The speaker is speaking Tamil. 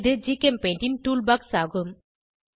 இது ஜிகெம்பெயிண்ட் ன் டூல் பாக்ஸ் ஆகும்